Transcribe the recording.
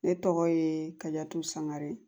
Ne tɔgɔ ye ka yatu sangare